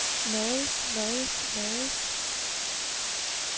lades lades lades